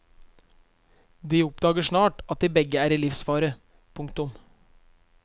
De oppdager snart at de begge er i livsfare. punktum